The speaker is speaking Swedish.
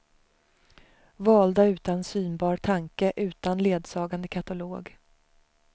Valda utan synbar tanke, utan ledsagande katalog.